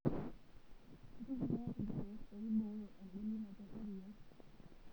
Ntumiya irkiek ooiboyo embulunoto eriyia.